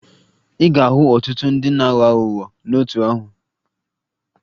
Ị ga-ahụ ọtụtụ ndị na-aghọ aghụghọ n'otu ahụ